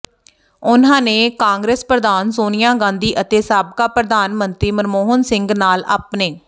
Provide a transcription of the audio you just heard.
ਉਨ੍ਹਾਂਨੇ ਕਾਂਗਰਸ ਪ੍ਰਧਾਨ ਸੋਨੀਆ ਗਾਂਧੀ ਅਤੇ ਸਾਬਕਾ ਪ੍ਰਧਾਨ ਮੰਤਰੀ ਮਨਮੋਹਨ ਸਿੰਘ ਨਾਲ ਆਪਣੇ